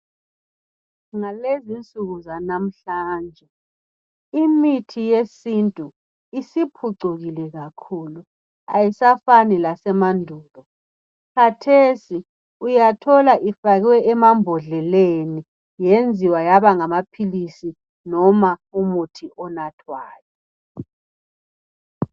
Ngalezi insuku zanamhlanje imithi yesintu isiphucukile kakhulu ayisafani lase mandulo. Khathesi uyathola ifakwe emambhodleleni yenziwa yaba ngamaphilisi noma umuthi onathwayo.